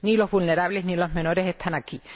Ni los vulnerables ni los menores están aquí.